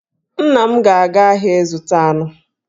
Nna m ga-aga ahịa ịzụta anụ.